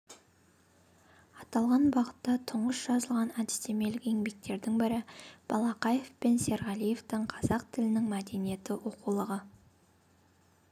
аталған бағытта тұңғыш жазылған әдістемелік еңбектердің бірі балақаев пен серғалиевтің қазақ тілінің мәдениеті оқулығы